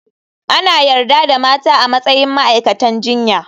Ana yarda da mata a matsayin ma'aikatan jinya.